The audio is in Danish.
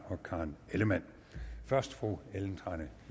og karen ellemann først fru ellen trane